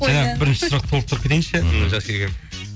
жаңағы бірінші сұрақты толықтырып кетейінші иә